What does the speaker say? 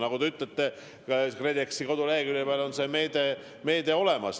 Nagu te ütlete, KredExi kodulehekülje peal on see meede olemas.